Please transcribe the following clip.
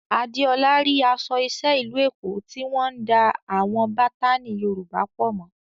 Adeola rí aṣọ iṣẹ́ ìlú Èkó tí wọ́n ń da àwọn bátánì Yorùbá pọ̀ mọ́